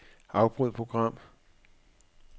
Afbryd program.